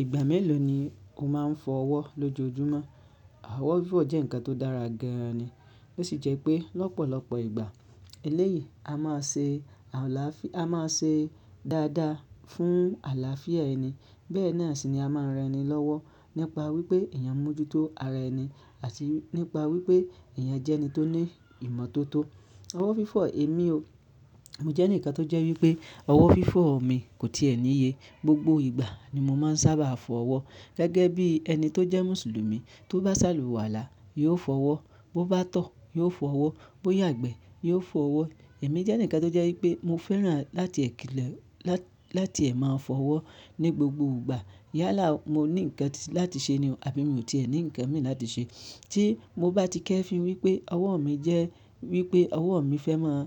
Ìgbà mélòó ni o máa ń fọ ọwọ́ lójoojúmọ́? Àwọ̀ fífọ̀ jẹ́ ǹkan tó dára gan-an ni. Ó sì jẹ́ pé lọ́pọ̀lọpọ̀ ìgbà eléyìí a máa ṣe àlàáfíà, a máa ṣe dáadáa fún àlàáfíà ẹni. Bẹ́ẹ̀ náà sì ni a máa ń ran ni lówó nípa wípé èèyàn mójú tó ara ẹni àti nípa wípé èèyàn jẹ́ ẹni tó ní ìmọ́tótó. Owọ̀ fífọ̀ èmi o. Mo jẹ́ ǹkan tó jẹ́ wípé owọ̀ fífọ́ mi kò tí ẹ̀ níye. Gbogbo ìgbà ni mo máa ń sábà fọ ọwọ́. Gẹ́gẹ́ bí ẹni tó jẹ́ Mùsùlùmí, tó bá sàlùwàlá, yóò fọ ọwọ́, bó bá tọ̀, yóò fọ ọwọ́, bó yàgbẹ́, yóò fọ ọwọ́. Èmi jẹ́ ǹkan tó jẹ́ wípé mo fẹ́ràn láti èkílọ̀ lá-láti ẹ̀ máa fọ ọwọ́ ní gbogbo ìgbà. Yálà mo ní ǹkan láti ṣe ni àbí mi ò tí ẹ̀ ní ǹkan mi láti ṣe. Tí mo bá ti kẹ́ fi wípé ọwọ́ mi jẹ́ wípé ọwọ́ mi fẹ́ máa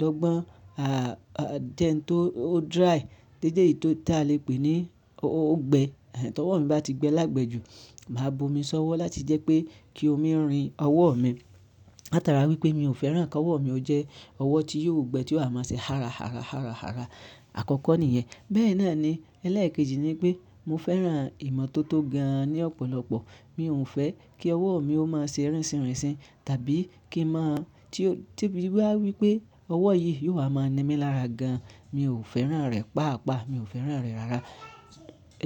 dògbón, à à jẹ́ n tó o dry, dédé ì tó ti a lè pè ní ó gbe. Ẹ̀ ẹ̀ tó ọwọ́ mi bá ti gbẹ lágbẹ́ jù, màá bu omi ṣọ́wọ́ láti jẹ́ pé kí omi rin ọwọ́ mi. Láta ara wípé mi ò fẹ́ràn kí ọwọ́ mi ó jẹ́ ọwọ́ tí yóò gbe tí ó máa ṣe hárá hárá hárá hárá. Àkọ́kọ́ nìyẹn. Bẹ́ẹ̀ náà ni, ẹlẹ́ẹ̀kejì ni pé mo fẹ́ràn ìmọ́tótó gan-an ní ọ̀pọ̀lọpọ̀. Mi ò ń fẹ́ kí ọwọ́ mi ó máa ṣe rínṣìnrínṣìn tàbí kí i máa tí o tí bí wá wípé ọwọ́ yìí yóò wá máa ni mí lára gan-an. Mi ò fẹ́ràn rẹ̀ pa àpá, mi ò fẹ́ràn rẹ̀ rárá.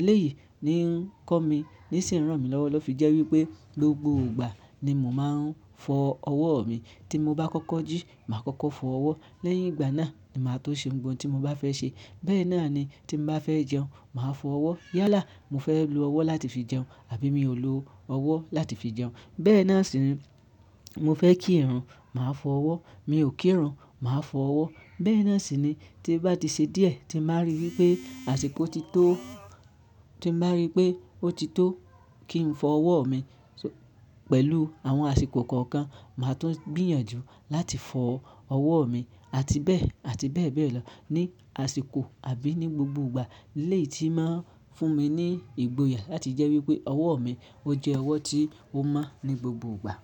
Eléyìí ni ń kọ́ mi, ní sì ń ràn mí lọ́wọ́ lọ́ fi jẹ́ wípé gbogbo ìgbà ni mò ń fọ ọwọ́ mi. Tí mo bá kọ́kọ́ jí, màá kọ́kọ́ fọ ọwọ́. Lẹ́yìn ìgbà náà ni màá tó ṣe ohun tí mo bá fẹ́ ṣe. Bẹ́ẹ̀ náà ni tí n bá fẹ́ jẹun, màá fọ ọwọ́. Yálà mo fẹ́ lo ọwọ́ láti fi jẹun àbí mi ò lò ọwọ́ láti fi jẹun. Bẹ́ẹ̀ náà sì ń, mo fẹ́ kí ìrun, màá fọ ọwọ́. Mi ò kí ìrun, màá fọ ọwọ́. Bẹ́ẹ̀ náà sì ni tí báti ṣe díẹ̀, tí màá rí wípé àsìkò ti tó, tí màá rí pé ó ti tó kí ń fọ ọwọ́ mi pẹ̀lú àwọn àsìkò kọ̀ọ̀kan, màá tún gbìyànjú láti fọ ọwọ́ mi. Àti bẹ́ẹ̀, àti bẹ́ẹ̀ bẹ́ẹ̀ lọ ní àsìkò àbí ní gbogbo ìgbà. Eléyìí tí màá ń fún mi ní ìgboyà láti jẹ́ wípé ọwọ́ mi ó jẹ́ ọwọ́ tí ó mọ́ ní gbogbo ìgbà.